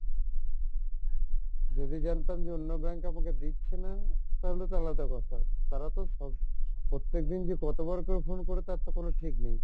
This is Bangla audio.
যদি জানতাম যে অন্য bank আমাকে দিচ্ছে না তাহলে তো আলাদা কথা তারা তো সব প্রত্যেকদিন যে কতবার করে phone করে তার তো কোনো ঠিক নেই।